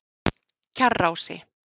Kjarrási